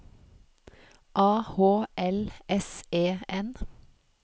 A H L S E N